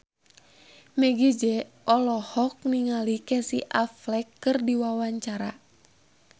Meggie Z olohok ningali Casey Affleck keur diwawancara